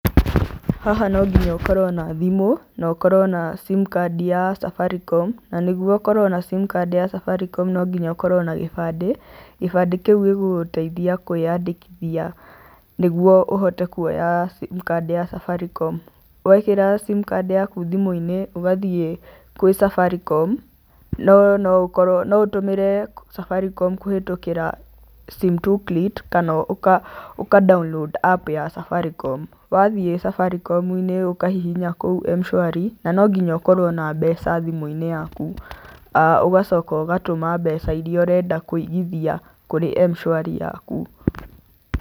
Haha no nginya ũkorwo na thimũ na ũkorwo na sim card ya Safaricom na nĩguo ũkorwo na sim card ya Safaricom no nginya ũkorwo na gĩbandĩ, gĩbandĩ kĩu gĩgũgũteithia kũĩandĩkithia nĩguo ũhote kuoya sim card ya Safaricom. Wekĩra sim card yaku thimũ-inĩ, ũgathiĩ kwĩ Safaricom no noũtũmĩre Safaricom kũhĩtũkĩra sim 2 plate kana ũka download app ya Safaricom. Wathiĩ Safaricom-inĩ ũkahihinya kũu M-shwari na no nginya ũkorwo na mbeca thimũ-inĩ yaku ũgacoka ũgatũma mbeca iria ũrenda kũigithia kũrĩ M-shwari yaku.